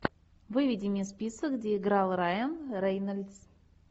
выведи мне список где играл райан рейнольдс